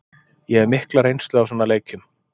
Ég hef mikla reynslu af svona leikjum.